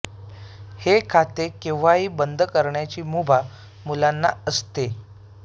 हे खाते केव्हाही बंद करण्याची मुभा मुलांना असते